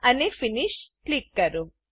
અને finish click કરો